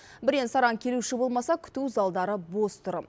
бірен саран келуші болмаса күту залдары бос тұр